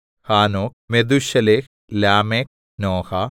ഹാനോക്ക് മെഥൂശേലഹ് ലാമെക്ക് നോഹ